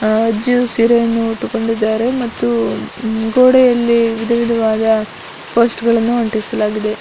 ಆ ಅಜ್ಜಿಯು ಸೀರೆಯನ್ನು ಉಟ್ಟುಕೊಂಡಿದ್ದಾರೆ. ಮತ್ತು ಮುಗೋಡೆಯಲ್ಲಿ ವಿಧ ವಿಧವಾಗಿ ಆ ಫ್ಯಾಸ್ಥಗಳನ್ನು ಅಂಟಿಸಲಾಗಿದೆ.